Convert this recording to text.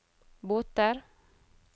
båter